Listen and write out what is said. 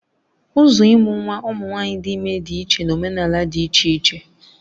Ụzọ ịmụ nwa ụmụ nwanyị dị ime dị iche na omenala dị iche iche